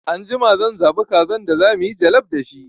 Anjima zan zaɓa kazan da zamuyi jallaf da shi